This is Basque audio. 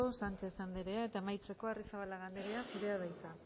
sánchez andrea eta amaitzeko arrizabalaga andrea zurea da hitza